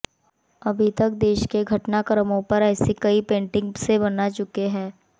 अभी तक देश के घटनाक्रमों पर ऐसी कई पेंटिंग से बना चुके हैं